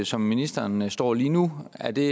som ministeren står lige nu er det